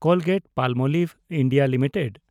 Colgate-Palmolive (India) limited